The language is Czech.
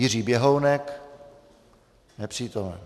Jiří Běhounek: Nepřítomen.